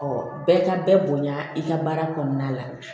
bɛɛ ka bɛɛ bonya i ka baara kɔnɔna la